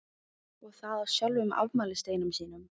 Og það á sjálfum afmælisdeginum sínum.